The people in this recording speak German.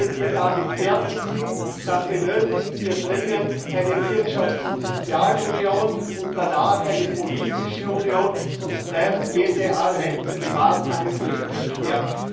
Wenn wir damit fertig sind, dann benötigen wir dringend eine Wirtschafts und Sozialunion sowie in der Folge eine politische Union, sonst bleibt jede einzelne Maßnahme nur Stückwerk.